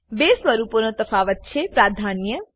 બે સ્વરૂપોનો તફાવત છે પ્રાધાન્ય